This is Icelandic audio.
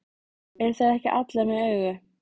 Eru þær ekki allar með augu?